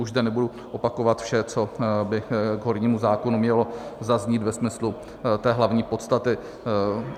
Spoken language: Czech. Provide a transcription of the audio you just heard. Už zde nebudu opakovat vše, co by k hornímu zákonu mělo zaznít ve smyslu té hlavní podstaty.